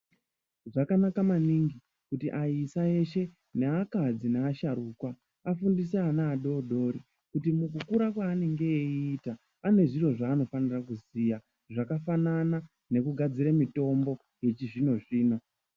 Zvakanaka maningi kuti ana eshe akadzi nevasharukwa vafundise vana vadodori kuti mukukura mwanenge eieita pane zviro zvanofanira kuziya zvakafanana nekugadzira mitombo yechizvino zvino.